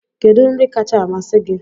Kedu nri kacha amasị gị?